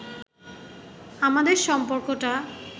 আমাদের সম্পর্কটা